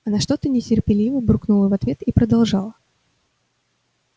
она что-то нетерпеливо буркнула в ответ и продолжала